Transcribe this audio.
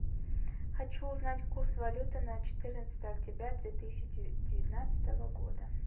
хочу узнать курс валюты на четырнадцатое октября две тысячи девятнадцатого года